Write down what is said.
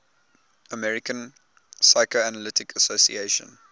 american psychoanalytic association